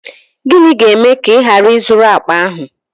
Gịnị ga-eme ka ị ghara ị zụrụ akpa ahụ?